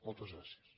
moltes gràcies